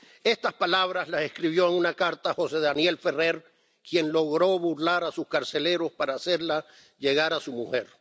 Estas palabras las escribió en una carta José Daniel Ferrer, quien logró burlar a sus carceleros para hacerla llegar a su mujer.